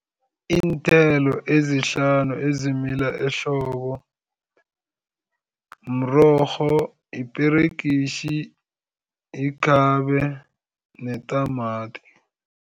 Iinthelo ezihlanu ezimila ehlobo mrorho, iperegitjhi, ikhabe netamati.